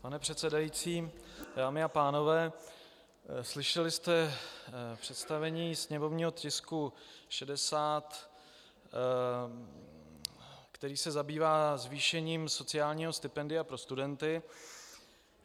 Pane předsedající, dámy a pánové, slyšeli jste představení sněmovního tisku 60, který se zabývá zvýšením sociálního stipendia pro studenty.